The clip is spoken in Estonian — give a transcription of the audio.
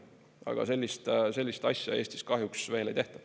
Aga sellist asja Eestis kahjuks veel ei tehta.